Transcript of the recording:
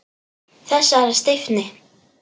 Þessari stífni.